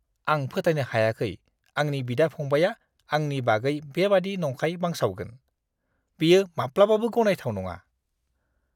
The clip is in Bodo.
आं फोथायनो हायाखै आंनि बिदा-फंबायआ आंनि बागै बेबादि नंखाय बांसावगोन। बेयो माब्लाबाबो गनायथाव नङा!